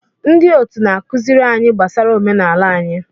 Ndị otu na-akụziri anyị gbasara omenala anyị.